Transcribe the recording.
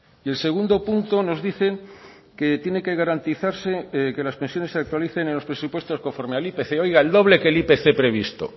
y el segundo punto nos dicen que tiene que garantizarse que las pensiones se actualicen en los presupuestos conforme al ipc oiga el doble que el ipc previsto